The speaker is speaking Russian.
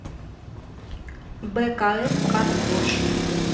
бэкаэф карвош